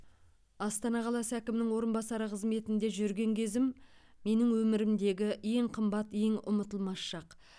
астана қаласы әкімінің орынбасары қызметінде жүрген кезім менің өмірімдегі ең қымбат ең ұмытылмас шақ